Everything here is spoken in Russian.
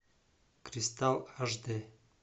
кристалл аш д